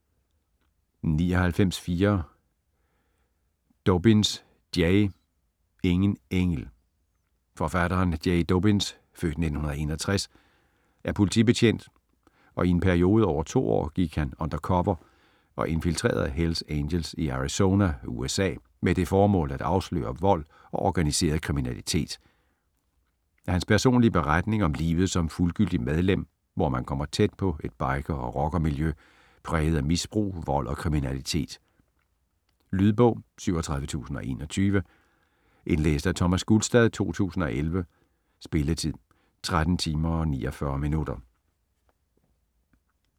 99.4 Dobyns, Jay Ingen engel Forfatteren, Jay Dobyns (f. 1961) er politibetjent og i en periode over 2 år gik han undercover og infiltrerede Hells Angels i Arizona, USA med det formål at afsløre vold og organiseret kriminalitet. Hans personlige beretning om livet som fuldgyldigt medlem, hvor man kommer tæt på et biker- og rockermiljø præget af misbrug, vold og kriminalitet. Lydbog 37021 Indlæst af Thomas Gulstad, 2011. Spilletid: 13 timer, 49 minutter.